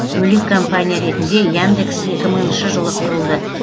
бөлек компания ретінде яндекс екі мыңшы жылы құрылды